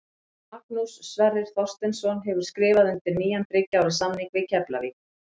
Magnús Sverrir Þorsteinsson hefur skrifað undir nýjan þriggja ára samning við Keflavík.